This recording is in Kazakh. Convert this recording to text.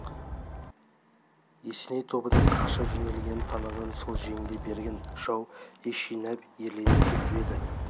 есеней тобының қаша жөнелгенін таныған соң жеңіле берген жау ес жинап ерленіп кетіп еді